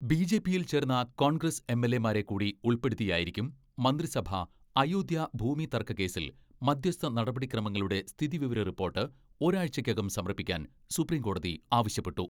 ബി.ജെ.പിയിൽ ചേർന്ന കോൺഗ്രസ് എം.എൽ.എമാരെകൂടി ഉൾപ്പെടുത്തിയായിരിക്കും മന്ത്രിസഭാ അയോധ്യാ ഭൂമി തർക്ക കേസിൽ മധ്യസ്ഥനടപടിക്രമങ്ങളുടെ സ്ഥിതി വിവര റിപ്പോർട്ട് ഒരാഴ്ചയ്ക്കകം സമർപ്പിക്കാൻ സുപ്രിംകോടതി ആവശ്യ പ്പെട്ടു.